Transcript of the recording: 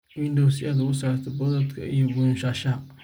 Window si aad uga saarto boodhka iyo buunshaha.